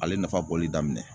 Ale nafa bɔli daminɛ.